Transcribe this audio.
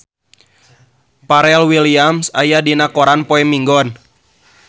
Pharrell Williams aya dina koran poe Minggon